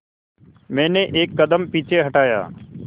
मैंने एक कदम पीछे हटाया